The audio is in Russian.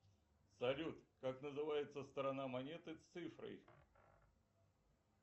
салют как называется сторона монеты с цифрой